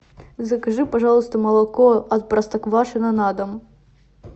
закажи пожалуйста молоко от простоквашино на дом